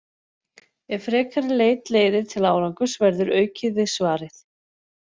Ef frekari leit leiðir til árangurs verður aukið við svarið.